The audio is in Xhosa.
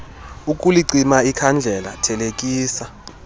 ukulicima ikhandlela thelekisa